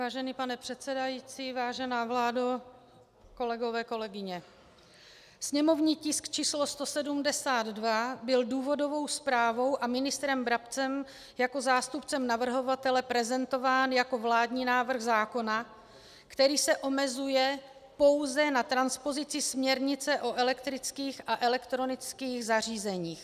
Vážený pane předsedající, vážená vládo, kolegové, kolegyně, sněmovní tisk číslo 172 byl důvodovou zprávou a ministrem Brabcem jako zástupcem navrhovatele prezentován jako vládní návrh zákona, který se omezuje pouze na transpozici směrnice o elektrických a elektronických zařízeních.